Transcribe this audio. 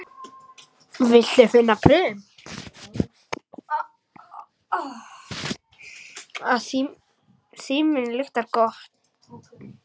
Þetta sannaði hún með fyrrgreindum afleiðingum.